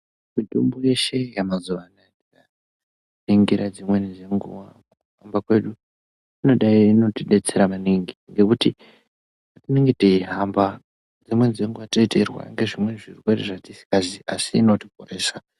Mitombo yeshe yemazuwa ano ukaningira dzimweni dzenguva pamwe pacho inodai inotidetsera maningi nekuti tinenge teyi hamba dzimweni dzenguva tinenge teyi rwara nezvirwere zvatisingazivi inotoporesa.